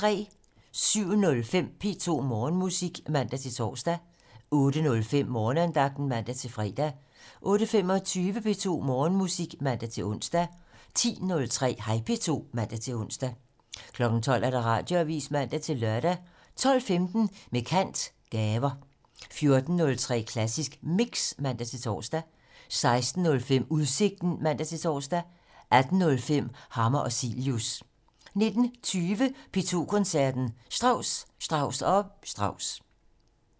07:05: P2 Morgenmusik (man-tor) 08:05: Morgenandagten (man-fre) 08:25: P2 Morgenmusik (man-ons) 10:03: Hej P2 (man-ons) 12:00: Radioavisen (man-lør) 12:15: Med kant - Gaver 14:03: Klassisk Mix (man-tor) 16:05: Udsigten (man-tor) 18:05: Hammer og Cilius 19:20: P2 Koncerten - Strauss, Strauss & Strauss